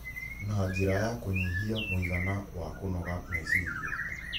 na njĩra ya kũnyihia mũigana wa kũnoga meciria.